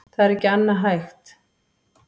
Það er ekki annað hægt